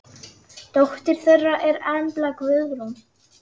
Dóttir þeirra er Embla Guðrún.